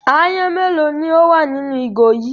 Aáyán mélòó ni ó wà nínú ìgò yìí?